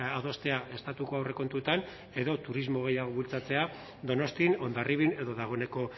adostea estatuko aurrekontuetan edo turismo gehiago bultzatzea donostian hondarribian edo dagoeneko